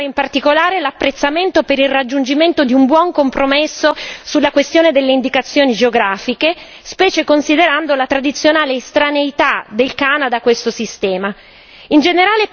Voglio sottolineare in particolare l'apprezzamento per il raggiungimento di un buon compromesso sulla questione delle indicazioni geografiche, specie considerando la tradizionale estraneità del Canada a questo sistema.